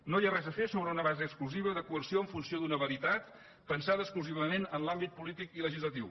no hi ha res a fer sobre una base exclusiva de coerció en funció d’una veritat pensada exclusivament en l’àmbit polític i legislatiu